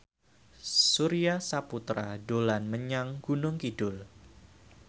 Surya Saputra dolan menyang Gunung Kidul